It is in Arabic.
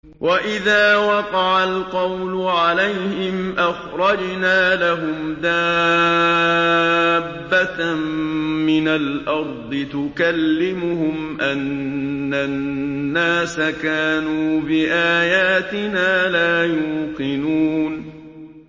۞ وَإِذَا وَقَعَ الْقَوْلُ عَلَيْهِمْ أَخْرَجْنَا لَهُمْ دَابَّةً مِّنَ الْأَرْضِ تُكَلِّمُهُمْ أَنَّ النَّاسَ كَانُوا بِآيَاتِنَا لَا يُوقِنُونَ